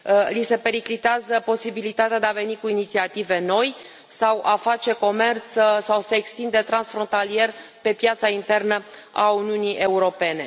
Li se periclitează posibilitatea de a veni cu inițiative noi, sau a face comerț, sau să se extindă transfrontalier pe piața internă a Uniunii Europene.